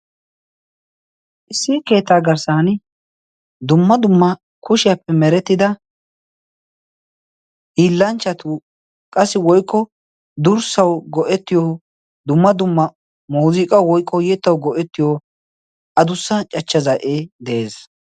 issi keetaa garssan dumma dumma kushiyaappe merettida hiillanchchatu qassi woikko durssau go77ettiyo dumma dumma mooziiqa woiqko yeettau go77ettiyo a dussan cachcha za7ee de7ees